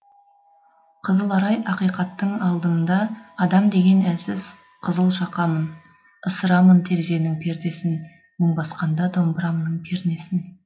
қызыл арай ақиқаттың алдында адам деген әлсіз қызылшақамын ысырамын терезенің пердесін мұң басқанда домбырамның пернесін